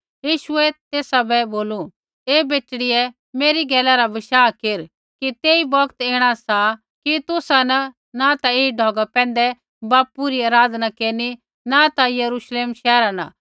यीशुऐ तेसा बै बोलू ऐ बेटड़ियै मेरी गैला रा बशाह केर कि तेई बोक्त ऐणा सा कि तुसा न ता ऐई ढौगा पैंधै बापू री आराधना केरनी न ता यरूश्लेम शैहरा न